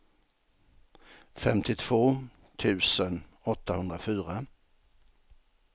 femtiotvå tusen åttahundrafyra